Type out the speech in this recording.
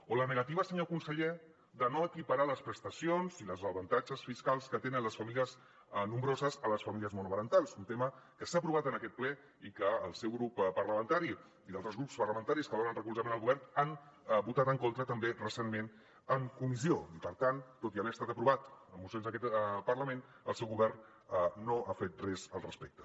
o la negativa senyor conseller de no equiparar les prestacions i els avantatges fiscals que tenen les famílies nombroses amb les famílies monoparentals un tema que s’ha aprovat en aquest ple i que el seu grup parlamentari i altres grups parlamentaris que donen recolzament al govern hi han votat en contra també recentment en comissió i per tant tot i haver estat aprovat en mocions d’aquest parlament el seu govern no ha fet res al respecte